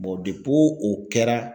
Ɔ depi o kɛra